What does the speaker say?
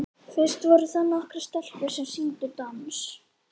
Fyrst voru það nokkrar stelpur sem sýndu dans.